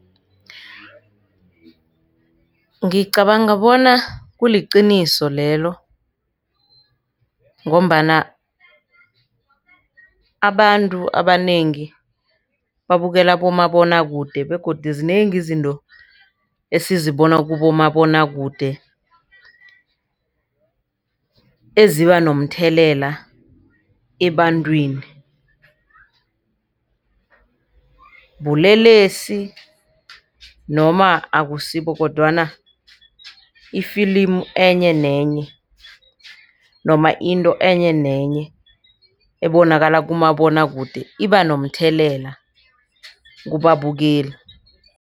Ngicabanga bona kuliqiniso lelo ngombana abantu abanengi babukela abomabonwakude begodu zinengi izinto esizibona kubomabonwakude eziba nomthelela ebantwini. Bulelesi noma akusibo kodwana ifilimu enye nenye noma into enye nenye ebonakala kumabonwakude iba nomthelela kubabukeli.